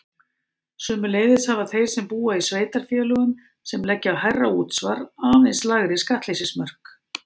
Sömuleiðis hafa þeir sem búa í sveitarfélögum sem leggja á hærra útsvar aðeins lægri skattleysismörk.